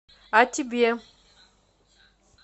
а тебе